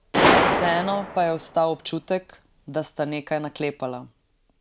Vseeno pa je ostal občutek, da sta nekaj naklepala.